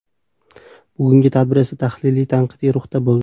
Bugungi tadbir esa tahliliy-tanqidiy ruhda bo‘ldi.